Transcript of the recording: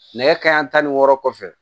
Nɛgɛ kanɲɛ tan ni wɔɔrɔ kɔfɛ